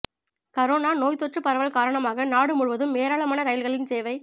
corona நோய்த் தொற்றுப் பரவல் காரணமாக நாடு முழுவதும் ஏராளமான ரயில்களின் சேவை